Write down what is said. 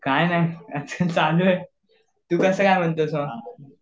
काय नाही चालू ये तू कसं काय म्हणतो मग?